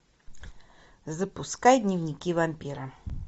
запускай дневники вампира